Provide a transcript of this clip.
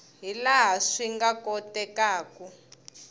hi laha swi nga kotekaku